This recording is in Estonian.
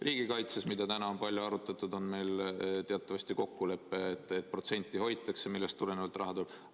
Riigikaitses, mida täna on palju arutatud, on meil teatavasti kokkulepe, et protsenti hoitakse, millest tulenevalt raha tuleb.